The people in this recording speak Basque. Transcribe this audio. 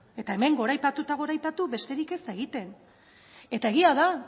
eta hemen goraipatu eta goraipatu besterik ez da egiten eta egia da